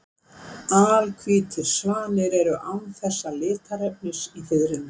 Alhvítir svanir eru án þessa litarefnis í fiðrinu.